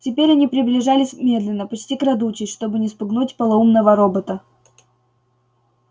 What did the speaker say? теперь они приближались медленно почти крадучись чтобы не спугнуть полоумного робота